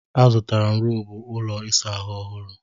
Azụtara m roobụ ụlọ ịsa ahụ ọhụru.